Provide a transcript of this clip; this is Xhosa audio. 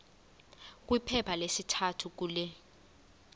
kwiphepha lesithathu kule